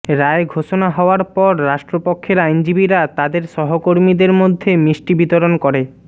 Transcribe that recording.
রায় ঘোষণা হওয়ার পর রাষ্ট্রপক্ষের আইনজীবীরা তাদের সহকর্মীদের মধ্যে মিষ্টি বিতরণ করে